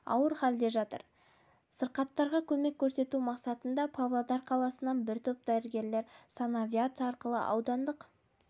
ауыр халде жатыр сырқаттарға көмек көрсету мақсатында павлодар қаласынан бір топ дәрігер санавиация арқылы аудандық